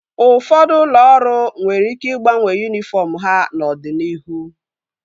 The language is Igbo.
Ụfọdụ ụlọ ọrụ nwere ike ịgbanwe yunifọm ha n'ọdịnihu